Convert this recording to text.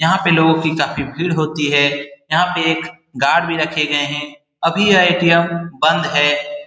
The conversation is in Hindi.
यहाँ पे लोगो की काफी भीड़ होती है। यहाँ पे एक गार्ड भी रखे गए हैं अभी यह ए.टी.एम. बंद है।